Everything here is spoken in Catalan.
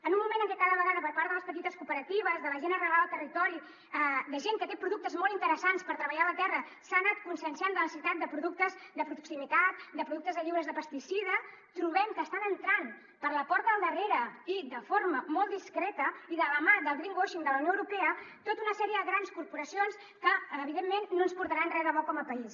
en un moment en què cada vegada per part de les petites cooperatives de la gent arrelada al territori de gent que té productes molt interessants per treballar la terra s’ha anat conscienciant de la necessitat de productes de proximitat de productes lliures de pesticida trobem que estan entrant per la porta del darrere i de forma molt discreta i de la mà del greenwashing cions que evidentment no ens portaran res de bo com a país